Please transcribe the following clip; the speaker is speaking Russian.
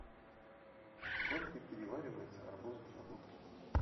сколько переваривается арбуз в желудке